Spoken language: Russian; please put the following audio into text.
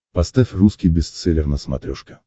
поставь русский бестселлер на смотрешке